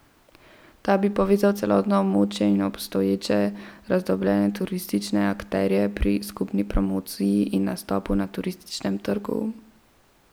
Ta bi povezal celotno območje in obstoječe razdrobljene turistične akterje pri skupni promociji in nastopu na turističnem trgu.